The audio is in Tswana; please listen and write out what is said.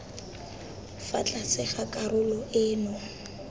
fa tlase ga karolo eno